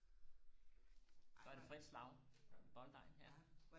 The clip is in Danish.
så er der frit slag i bolledejen her